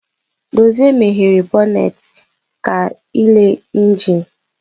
Dozie meghere bọnet ka ịle injin.